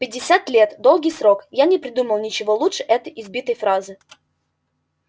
пятьдесят лет долгий срок я не придумал ничего лучше этой избитой фразы